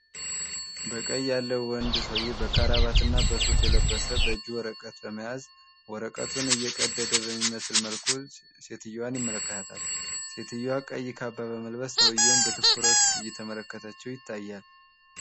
በቀኝ ያለ ወንድ ሰውየ በከረባትና በሱፍ የለበሰ በጁ ወረቀት በመያዝ ወረቀቱን እየቀደደ በሚመስል መልኩ ሴትዮዋን ይመለከታታል። ሴትዮዋ ቀይ ካባ በመልበስ ሰውየውን በትኩረት እየተመለከተችው ይታያል።